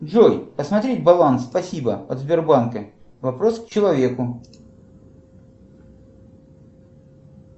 джой посмотреть баланс спасибо от сбербанка вопрос к человеку